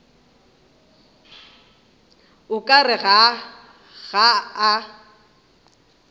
o ka re ga a